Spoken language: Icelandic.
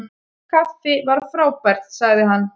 Kaffi væri frábært- sagði hann.